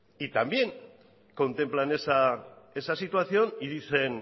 también contemplan esa situación y dicen